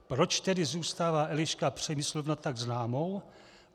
Proč tedy zůstává Eliška Přemyslovna tak známou?